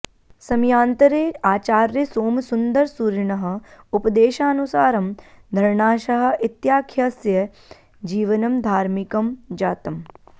समयान्तरे आचार्यसोमसुन्दरसूरिणः उपदेशानुसारं धरणाशाह इत्याख्यस्य जीवनं धार्मिकं जातम्